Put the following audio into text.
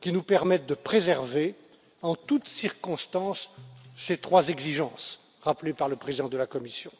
qui nous permette de préserver en toutes circonstances ces trois exigences rappelées par le président de la commission.